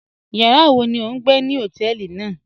Yàrá wọ̀ ní ọ̀ n gbẹ̀ ní hotẹ̀ẹlí náà?